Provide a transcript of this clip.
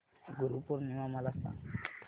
गुरु पौर्णिमा मला सांग